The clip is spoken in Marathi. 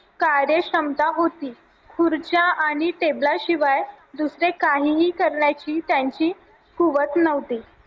कार्यक्षमता होती खुर्च्या आणि टेबला शिवाय दुसरे काहीही करण्याची त्यांची कुवत नव्हती